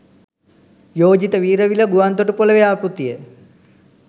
යෝජිත වීරවිල ගුවන් තොටුපළ ව්‍යාපෘතිය